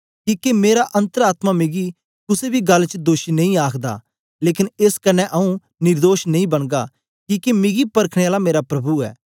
किके मेरा अन्तर आत्मा मिगी कुसे बी गल्ल च दोषी नेई आखदा लेकन एस कन्ने आऊँ निर्दोष नेई बनगा किके मिगी परखने आला मेरा प्रभु ऐ